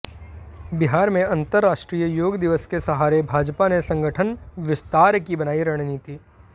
बिहार में अंतरराष्ट्रीय योग दिवस के सहारे भाजपा ने संगठन विस्तार की बनाई रणनीति